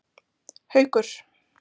Haukur